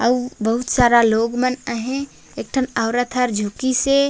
अउ बहुत सारा लोग मन अही एकठन औरत हर झुकिस हे।